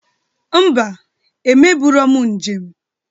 Mba, emeburu m njem.